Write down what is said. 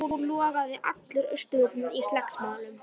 Nú logaði allur Austurvöllur í slagsmálum.